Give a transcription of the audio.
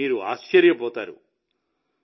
మీరు ఆశ్చర్యపోతారు